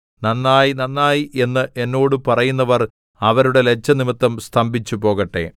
നന്നായി നന്നായി എന്ന് എന്നോട് പറയുന്നവർ അവരുടെ ലജ്ജ നിമിത്തം സ്തംഭിച്ചുപോകട്ടെ